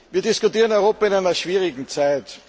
Wir diskutieren Europa in einer schwierigen Zeit.